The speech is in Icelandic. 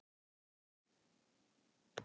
Þar áttu þau góð ár.